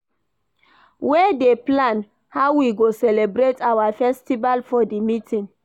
We dey plan how we go celebrate our festival for di meeting.